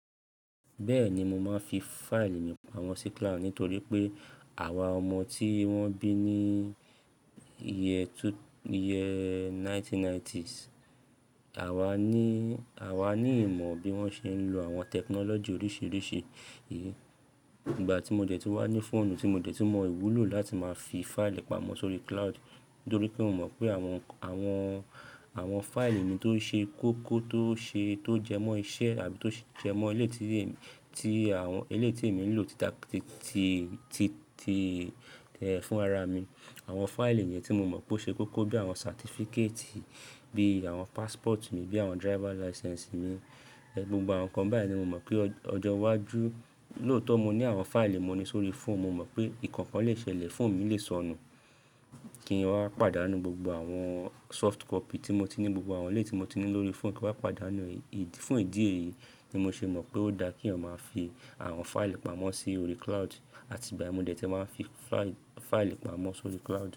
Bẹ́ẹ̀ni, mo máa ń fi fáìlì mi pamọ́ sí cloud nítorí pé àwa ọmọ tí wọ́n bí ní year two, year 1990s, àwa ní, àwa ní ìmọ̀ bí wọ́n ṣe ń lo àwọn tẹkinọ́lọ́jì oríṣiríṣi. Ìgbà tí mo dẹ̀ tí wá ní fóònù tí mo dẹ̀ tí mọ ìwúlò láti máa fi fáìlì pamọ́ sórí cloud nítorí pé mo mọ̀ pé àwọn, àwọn, àwọn fáìlì mi tó ṣe kókó tó ṣe, tó jẹmọ́ iṣẹ́ àbí tó jẹmọ́ eleyi tí, tí àwọn eleyi tí èmi ń lò tita, ti, ti, ti, ti fún ara mi. Àwọn fáìlì yẹn tí mo mọ̀ pé ó ṣe kókó bí àwọn certificate, bí àwọn passport mi, bí àwọn driver license mi. Gbogbo àwọn nǹkan báyìí ni mo mọ̀ pé ọjọ́ iwájú, lóòótọ́ mo ní àwọn fáìlì wọn ní orí fóònù, mo mọ̀ pé ìkankan lè ṣẹlẹ̀, fóònù mi lè sọnù kí n wá pàdánù gbogbo àwọn soft copy tí mo ti ní, gbogbo àwọn ìlé tí mo ti ní lórí fóònù kí wá pàdánù ẹ́. Fún ìdí èyí ni mo ṣe mọ̀ pé ó dá kí ọmọ máa fi àwọn fáìlì pamọ́ sí orí cloud. Àti ìgbà yen mo dẹ̀ tì máa ń fi fáìlì, fáìlì pamọ́ sórí cloud.